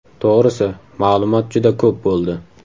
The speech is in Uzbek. To‘g‘risi, ma’lumot juda ko‘p bo‘ldi.